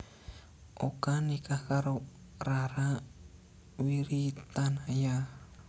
Oka nikah karo Rara Wiritanaya